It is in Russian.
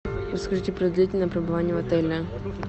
расскажите про длительное пребывание в отеле